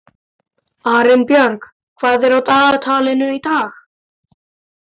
Arinbjörg, hvað er á dagatalinu í dag?